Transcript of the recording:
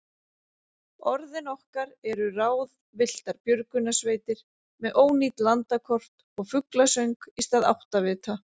Orðin okkar eru ráðvilltar björgunarsveitir með ónýt landakort og fuglasöng í stað áttavita.